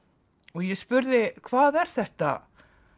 og ég spurði hvað er þetta